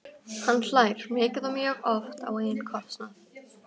Hann hlær mikið og mjög oft á eigin kostnað.